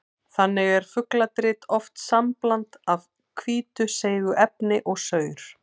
Þannig er fugladrit oft sambland af hvítu seigu efni og saur.